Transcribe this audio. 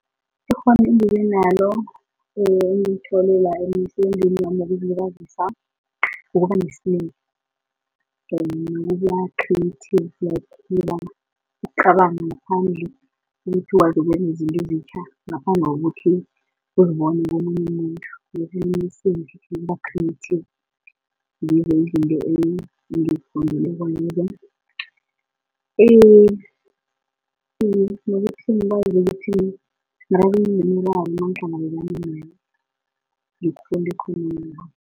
Ikghona engibenalo engilithole la emsebenzini wami wokuzilibazisa kukubanesibindi nokuba-creative like ukucabanga ngaphandle kukuthi ukwazi ukwenza izinto ezitjha, ngaphandle kokuthi uzibona komunye umuntu ukuba-creative, ngizo izinto engizifundileko lezo. Enye into nokuthi ngikwazi ukuthi nakunemiraro nangihlangabezana nayo ngikghone ukuyikhuluma.